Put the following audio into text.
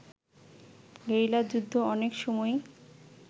গেরিলাযুদ্ধ অনেক সময়ই